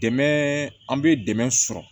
Dɛmɛ an bɛ dɛmɛ sɔrɔ